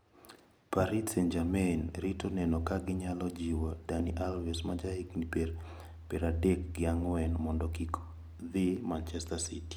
Paris Saint-Germain rito neno ka ginyalo jiwo Dani Alves ma jahigni pier adek gi ang`wen mondo kik dhi Manchester City.